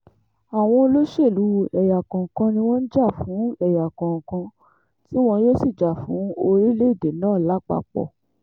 àwọn olóṣèlú ẹ̀yà kọ̀ọ̀kan ni wọ́n ń jà fún ẹ̀yà kọ̀ọ̀kan tí wọn yóò sì jà fún orílẹ̀-èdè náà lápapọ̀